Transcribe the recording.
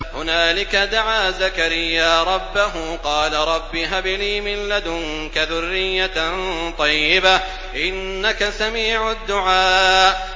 هُنَالِكَ دَعَا زَكَرِيَّا رَبَّهُ ۖ قَالَ رَبِّ هَبْ لِي مِن لَّدُنكَ ذُرِّيَّةً طَيِّبَةً ۖ إِنَّكَ سَمِيعُ الدُّعَاءِ